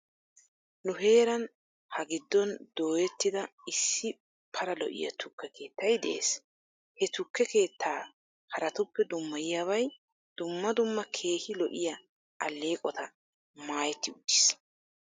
Nu heeran ha giddon dooyettida issi pala lo'iyaa tukke keettay de'es. He tukke keettaa haraatuppe dummayiyaabay dumma dumma keehi lo'iyaa aleeqota maayettiwtis.